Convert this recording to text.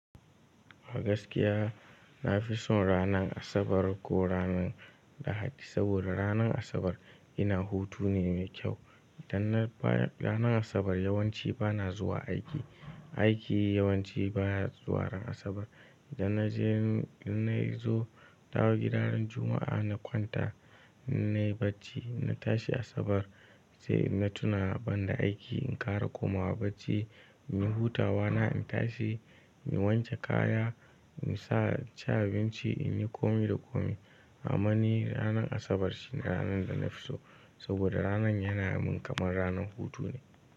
A gaskiya na fi son ranar Asabar ko ranar Lahadi saboda ranar Asabar ina hutu ne mai kyau. Idan na baya ranar Asabar yawanci bana zuwa aiki. Aiki yawanci baya zuwa ran Asabar. Idan na je, idan na zo, na dawo gida ran Juma'a na kwanta, in nayi bacci na tashi Asabar sai na tuna banda aiki in ƙara komawa bacci, in yi hutawa na, in tashi, in wanke kaya, in sa, ci abinci, in yi kome da kome. A ma ni ranar Asabar shine ranar da na fi so saboda ranar yana min kamar ranar hutu ne.